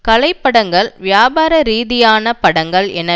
கலைப்படங்கள் வியாபார ரீதியான படங்கள் என